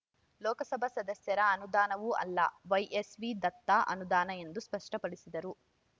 ಲೋಕಸಭಾ ಸದಸ್ಯರ ಅನುದಾನವೂ ಅಲ್ಲ ವೈಎಸ್‌ವಿ ದತ್ತ ಅನುದಾನ ಎಂದು ಸ್ಪಷ್ಟಪಡಿಸಿದರು